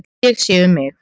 Ég sé um mig.